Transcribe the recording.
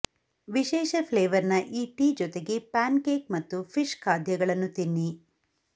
ವಿಶೇಷ ಫ್ಲೇವರ್ ನ ಈ ಟೀ ಜೊತೆಗೆ ಪ್ಯಾನ್ ಕೇಕ್ ಮತ್ತು ಫಿಶ್ ಖಾದ್ಯಗಳನ್ನು ತಿನ್ನಿ